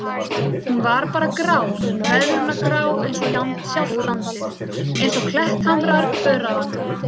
Hún var bara grá, veðrunargrá einsog sjálft landið, einsog klettahamrar öræfanna.